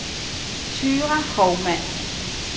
Thyra Houmann